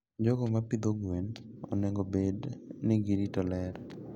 jogo mapidho gwen onego obed ni girito ler.